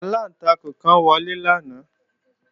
Aláǹtakùn kan wọlé lánàá